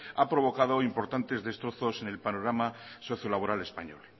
ha provocado importantes destrozos en el panorama socio laboral español